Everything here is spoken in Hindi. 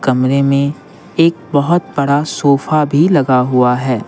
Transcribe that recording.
कमरे में एक बहुत बड़ा सोफा भी लगा हुआ है।